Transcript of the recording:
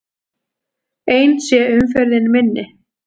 Eins sé umferðin minni.